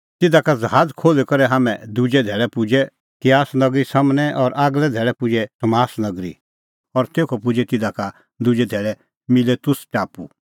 तिधा का ज़हाज़ खोल्ही करै हाम्हैं दुजै धैल़ै पुजै किआस नगरी सम्हनै और आगलै धैल़ै पुजै सामोस नगरी और तेखअ पुजै तिधा का दुजै धैल़ै मिलेतुस टापू